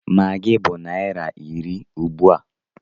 Maggi bụ naira iri ugbua.